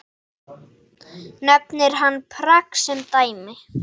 Nefnir hann Prag sem dæmi.